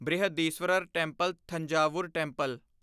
Brihadeeswarar temple Thanjavur temple